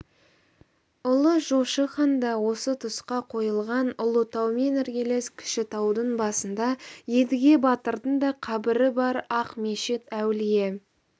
ұлы жошы хан да осы тұсқа қойылған ұлытаумен іргелес кішітаудың басында едіге батырдың да қабірі бар ақмешіт әулие